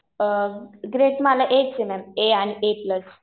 Grade मला A च आहे मॅम. ए आणि ए प्लस.